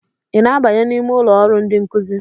ị na-abanye n'ime ụlọ ọrụ ndị nkuzi?